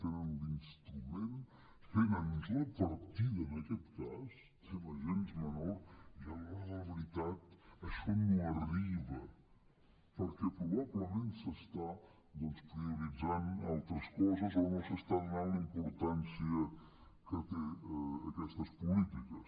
tenen un instrument tenen la partida en aquest cas que no és gens menor i a l’hora de la veritat això no arriba perquè probablement s’estan prioritzant altres coses o no s’està donant la importància que tenen aquestes polítiques